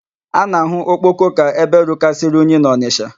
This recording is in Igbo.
A na-ahụ Okpoko ka ebe rukarịsịrị unyi n'Ọnịsha.